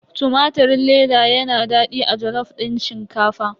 Tumatirin leda yana daɗi a jalof din shinkafa.